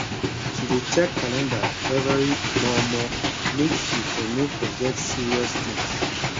she dey check calandar everi mor mor make she for no forget serious things